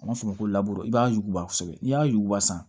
An b'a fɔ o ma ko i b'a yuguba kosɛbɛ n'i y'a yuguba san